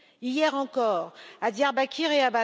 Hier encore, à Diyarbakir et